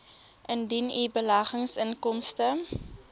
indien u beleggingsinkomste